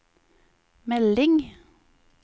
melding